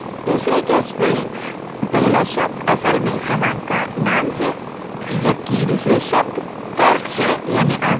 दूसरे case में पहला शब्द command का वास्तविक name है जबकि अन्य शब्द तर्क हैं